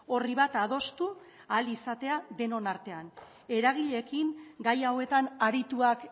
orri bat adostu ahal izatea denon artean eragileekin gai hauetan arituak